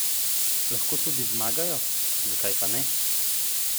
Lahko tudi zmagajo, zakaj pa ne?